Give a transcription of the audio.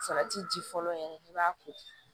Salati ji fɔlɔ yɛrɛ i b'a ko